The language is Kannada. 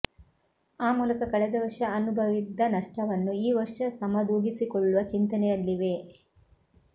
ಆ ಮೂಲಕ ಕಳೆದ ವರ್ಷ ಅನುಭವಿದ್ದ ನಷ್ಟವನ್ನು ಈ ವರ್ಷ ಸಮದೂಗಿಸಿಕೊಳ್ಳುವ ಚಿಂತನೆಯಲ್ಲಿವೆ